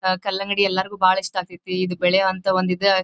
ಅಹ್ ಕಲ್ಲಂಗಡಿ ಎಲ್ಲರಿಗೂ ಬಹಳ ಇಷ್ಟ ಆಗತೈತಿ ಇದ್ ಬೆಳೆಯುವಂಥ ಇದು --